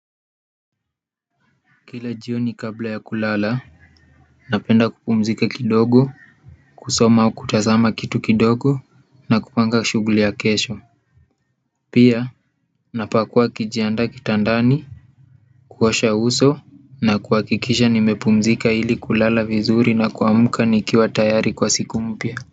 Kila jioni kabla ya kulala napenda kupumzika kidogo kusoma au kutazama kitu kidogo na kupanga shughuli ya kesho pia, napakuwa nikijiandaa kitandani kuosha uso na kuhakikisha nimepumzika ili kulala vizuri na kuamka nikiwa tayari kwa siku mpya.